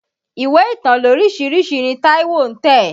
Ìwé ìtàn lóríṣiríṣi ni Táíwó ń tẹ̀.